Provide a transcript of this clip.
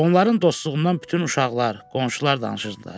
Onların dostluğundan bütün uşaqlar, qonşular danışırdılar.